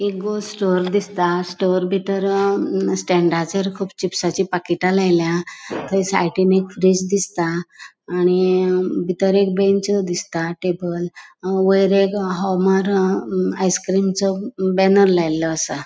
एक वो स्टोर दिसता स्टोर बितर अ स्टँडाचेर कूब चीप्साची पाकिटा लायल्या तै साइडीन एक फ्रिज दिसता आणि बितर एक बेंच दिसता टेबल वयर एक होवमारो आइस क्रिमचो बैनर लायलो आसा.